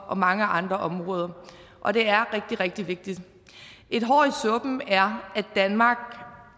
og mange andre områder og det er rigtig rigtig vigtigt et hår i suppen er at danmark